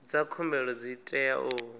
dza khumbelo dzi tea u